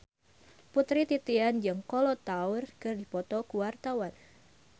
Putri Titian jeung Kolo Taure keur dipoto ku wartawan